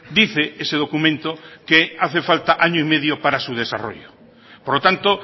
dice ese documento que hace falta año y medio para su desarrollo por lo tanto